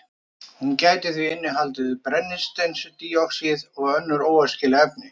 Hún gæti því innihaldið brennisteinsdíoxíð og önnur óæskileg efni.